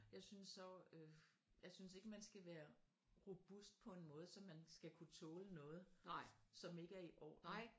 Jeg synes så øh jeg synes ikke man skal være robust på en måde så man skal kunne tåle noget som ikke er i orden